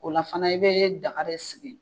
O la fana i bɛ daga re sigi.